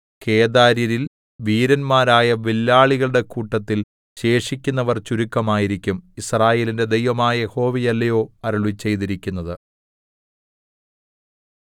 കേദാര്യരിൽ വീരന്മാരായ വില്ലാളികളുടെ കൂട്ടത്തിൽ ശേഷിക്കുന്നവർ ചുരുക്കമായിരിക്കും യിസ്രായേലിന്റെ ദൈവമായ യഹോവയല്ലയോ അരുളിച്ചെയ്തിരിക്കുന്നത്